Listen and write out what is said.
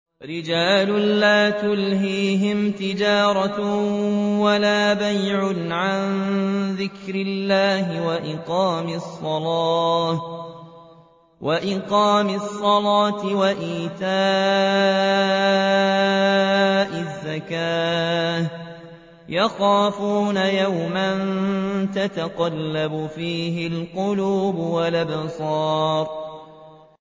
رِجَالٌ لَّا تُلْهِيهِمْ تِجَارَةٌ وَلَا بَيْعٌ عَن ذِكْرِ اللَّهِ وَإِقَامِ الصَّلَاةِ وَإِيتَاءِ الزَّكَاةِ ۙ يَخَافُونَ يَوْمًا تَتَقَلَّبُ فِيهِ الْقُلُوبُ وَالْأَبْصَارُ